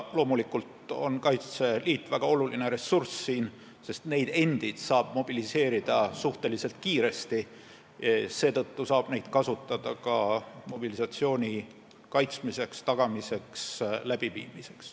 Loomulikult on Kaitseliit väga oluline ressurss, sest kaitseliitlasi endid saab mobiliseerida suhteliselt kiiresti, seetõttu saab neid kasutada ka mobilisatsiooni läbiviimise tagamiseks.